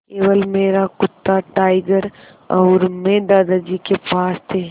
केवल मेरा कुत्ता टाइगर और मैं दादाजी के पास थे